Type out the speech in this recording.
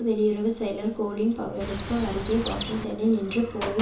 வெளியுறவு செயலர் கோலின் பவலுக்கு அருகே வாஷிங்டனில் நின்று போரை